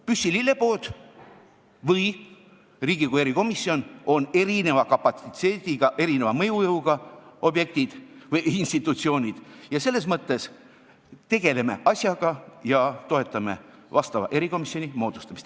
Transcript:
Püssi lillepood või Riigikogu erikomisjon on erineva kapatsiteedi ja mõjujõuga institutsioonid, selles mõttes tegeleme asjaga ja toetame vastava erikomisjoni moodustamist.